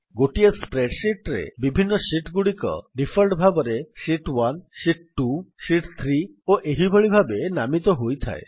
ଗୋଟିଏ spreadsheet ରେ ବିଭିନ୍ନ ଶୀଟ୍ ଗୁଡିକ ଡିଫଲ୍ଟ୍ ଭାବରେ ଶୀତ୍ 1 ଶୀତ୍ 2 ଶୀତ୍ 3 ଓ ଏହି ଭଳି ଭାବେ ନାମିତ ହୋଇଥାଏ